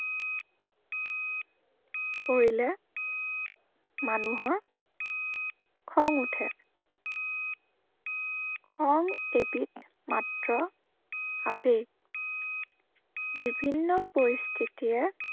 কৰিলে মানুহৰ খং উঠে। খং এবিধ মাত্ৰ, আবেগ। বিভিন্ন পৰিস্থিতিয়ে